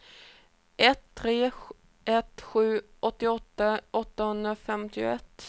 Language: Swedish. ett tre ett sju åttioåtta åttahundrafemtioett